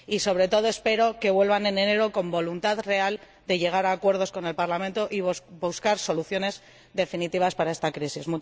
Y sobre todo espero que vuelvan en enero con voluntad real de llegar a acuerdos con el Parlamento y buscar soluciones definitivas para esta crisis.